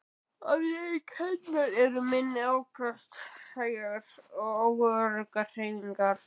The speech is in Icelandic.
Afleiðing hennar eru minni afköst, hægar og óöruggar hreyfingar.